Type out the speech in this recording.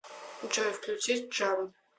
джой включи джамп